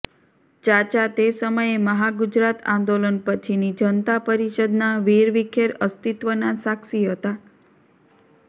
ચાચા તે સમયે મહાગુજરાત આંદોલન પછીની જનતા પરિષદના વિરવિખેર અસ્તિત્વના સાક્ષી હતા